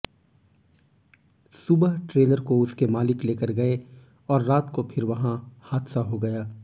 सुबह ट्रेलर को उसके मालिक लेकर गए और रात को फिर वहां हादसा हो गया